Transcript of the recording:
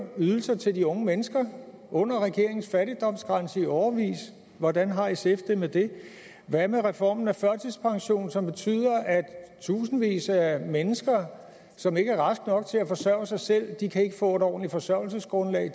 ydelser til de unge mennesker under regeringens fattigdomsgrænse i årevis hvordan har sf det med det hvad med reformen af førtidspensionen som betyder at i tusindvis af mennesker som ikke er raske nok til at forsørge sig selv ikke kan få et ordentligt forsørgelsesgrundlag